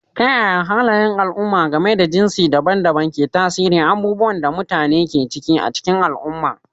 Ta yaya halayen al'umma game da jinsi daban-daban ke tasiri abubuwan da mutane ke ciki a cikin al'umma?